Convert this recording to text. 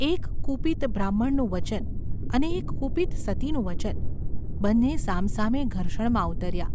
એક કુપિત બ્રાહ્મણનું વચન, અને એક કુપિત સતીનું વચન, બંને સામસામે ઘર્ષણમાં ઊતર્યાં.